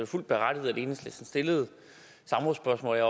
fuldt berettiget at enhedslisten stillede samrådsspørgsmål jeg